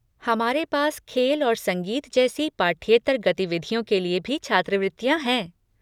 हमारे पास खेल और संगीत जैसी पाठ्येतर गतिविधियों के लिए भी छात्रवृत्तियाँ हैं।